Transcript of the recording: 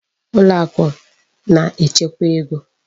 Ụlọakụ na-echekwa ego.